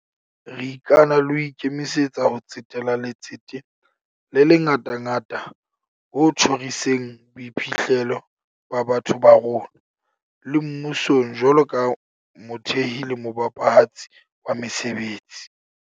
Re ikana le ho ikemisetsa ho tsetela letsete le le ngatangata ho tjhoriseng boiphihlelo ba batho ba rona, le mmusong jwalo ka mothehi le mophethahatsi wa mesebetsi.